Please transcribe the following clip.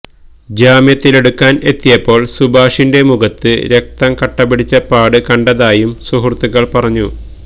ജാമ്യത്തിലെടുക്കാൻ എത്തിയപ്പോൾ സുഭാഷിന്റെ മുഖത്ത് രക്തം കട്ടപിടിച്ച പാട് കണ്ടതായും സുഹൃത്തുക്കൾ പറഞ്ഞു